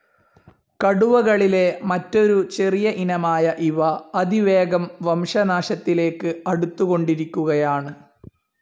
കടുവകളിലെ മറ്റൊരു ചെറിയ ഇനമായ ഇവ അതിവേഗം വംശനാശത്തിലേക്ക്‌ അടുത്തുകൊണ്ടിരിക്കുകയാന്‌.